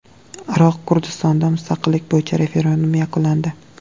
Iroq Kurdistonida mustaqillik bo‘yicha referendum yakunlandi.